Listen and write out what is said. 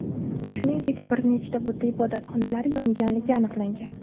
Shuningdek, bir nechta budda ibodatxonalari yonganligi aniqlangan.